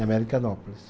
Em Americanópolis.